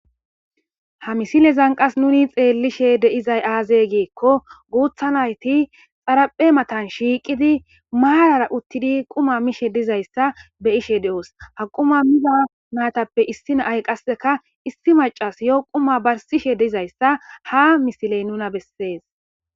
Ha misile zanqas nuni xeellishe de'izay aazee geekko guutha nayti xaraphe matan shiiqidi maayara uttidi quma mishe dizayssa beyishe de'os ha quma mila maatappe issinaay qasseka issi macas yo quma barsishe dizayssa ha misiley nuna bessees